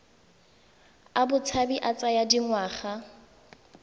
a botshabi a tsaya dingwaga